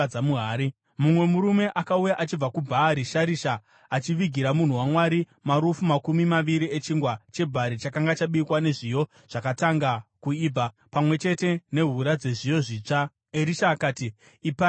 Mumwe murume akauya achibva kuBhaari Sharisha achivigira munhu waMwari marofu makumi maviri echingwa chebhari chakanga chabikwa nezviyo zvakatanga kuibva, pamwe chete nehura dzezviyo zvitsva. Erisha akati, “Ipai vanhu vadye.”